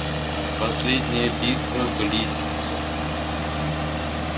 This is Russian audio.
а последняя битва близится